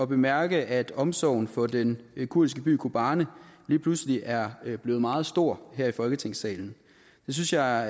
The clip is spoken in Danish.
bemærke at omsorgen for den kurdiske by kobane lige pludselig er blevet meget stor her i folketingssalen det synes jeg